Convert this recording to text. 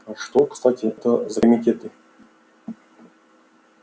а что кстати это за комитеты